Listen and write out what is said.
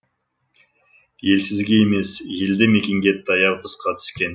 елсізге емес елді мекенге таяу тұсқа түскен